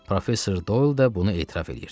Professor Doyl da bunu etiraf eləyirdi.